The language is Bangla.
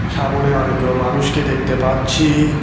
সামোনে অনেকগুলো মানুষকে দেখতে পাচ্ছি।